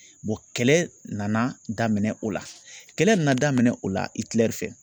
kɛlɛ nana daminɛ o la kɛlɛ nana daminɛ o la fɛ.